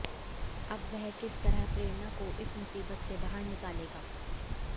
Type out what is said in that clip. अब वह किस तरह प्रेरणा को इस मुसीबत से बाहर निकालेगा